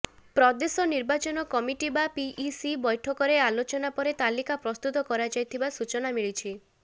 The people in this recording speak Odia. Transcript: ପ୍ରଦେଶ ନିର୍ବାଚନ କମିଟି ବା ପିଇସି ବୈଠକରେ ଆଲୋଚନା ପରେ ତାଲିକା ପ୍ରସ୍ତୁତ କରାଯାଇଥିବା ସୂଚନା ମିଳିଛି